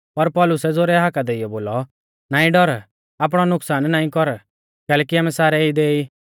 पर पौलुसै ज़ोरै हाका देइयौ बोलौ नाईं डौर आपणौ नुकसान नाईं कर कैलैकि आमै सारै इदै ई